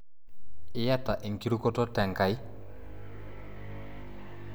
Iyata enkirukoto te Enkai?